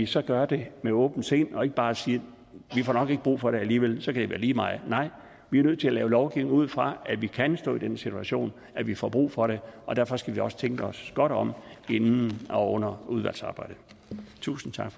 så gør det med åbent sind og ikke bare siger vi får nok ikke brug for det alligevel så kan det være lige meget nej vi er nødt til at lave lovgivning ud fra at vi kan stå i den situation at vi får brug for det og derfor skal vi også tænke os godt om inden og under udvalgsarbejdet tusind tak